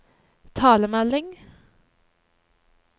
talemelding